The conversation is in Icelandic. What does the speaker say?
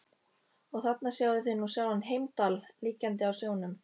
Og þarna sjáið þið nú sjálfan Heimdall liggjandi á sjónum.